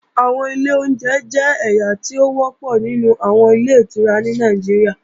Àwọn ilé oúnjẹ jẹ́ ẹ̀yà tó wọ́pọ̀ nínú àwọn Ilé-ìtura ní Nàìjíríà